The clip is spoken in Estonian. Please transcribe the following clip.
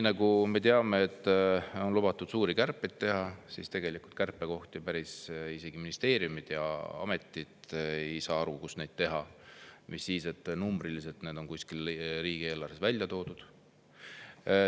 Nagu me teame, on lubatud teha suuri kärpeid, aga isegi ministeeriumid ja ametid ei saa aru, kust neid kärpeid teha, mis sest, et numbriliselt on need riigieelarves kuskil välja toodud.